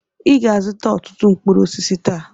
Ị ga-azụta ọtụtụ mkpụrụ osisi taa!